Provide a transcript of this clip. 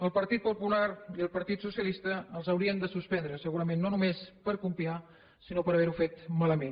al partit popular i el partit socialista els haurien de suspendre segurament no només per copiar sinó per haver ho fet malament